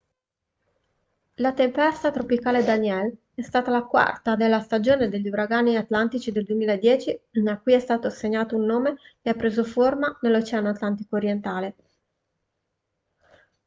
la tempesta tropicale danielle è stata la quarta della stagione degli uragani atlantici del 2010 a cui è stato assegnato un nome e ha preso forma nell'oceano atlantico orientale